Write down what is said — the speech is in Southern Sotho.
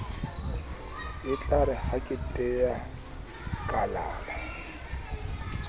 etlare ha ke tea kalala